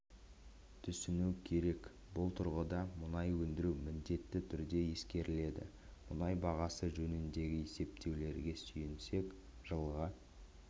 түсіну керек бұл тұрғыда мұнай өндіру міндетті түрде ескеріледі мұнай бағасы жөніндегі есептеулерге сүйенсек жылға